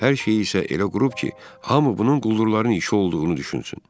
Hər şeyi isə elə qurub ki, hamı bunun quldurların işi olduğunu düşünsün.